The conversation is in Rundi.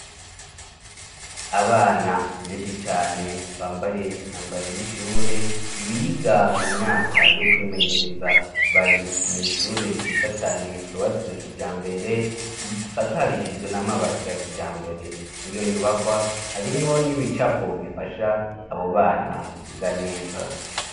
Abana benshi cane bambaye inyambaro y'ishure biga mu myaka yo kwimenyereza, bari mu ishure ryiza cane cubatswe kijambere isakarishijwe n'amabati ya kijambere mu iyo nyubakwa harimwo n'ibicapo bifasha abo bana iga neza.